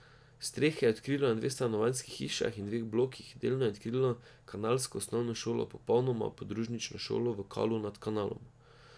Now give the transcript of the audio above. Strehe je odkrilo na dveh stanovanjskih hišah in dveh blokih, delno je odkrilo kanalsko osnovno šolo, popolnoma podružnično šolo v Kalu nad Kanalom.